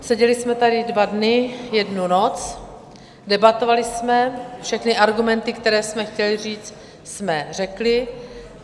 Seděli jsme tady dva dny, jednu noc, debatovali jsme, všechny argumenty, které jsme chtěli říct, jsme řekli.